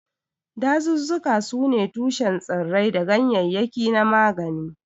Dazuzzuka sune tushen tsirrai da ganyaryaki na magani.